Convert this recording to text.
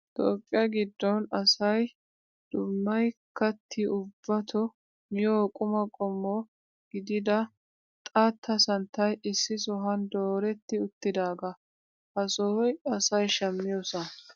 Toophphiyaa giddon asayi dummayi katti ubbatoo miyoo qumaa qommo gidida xaatta santtayi issi sohuwaan dooretti uttidaaga. Ha sohoyi asayi shammiyoosaa.